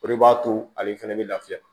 O de b'a to ale fɛnɛ bɛ lafiya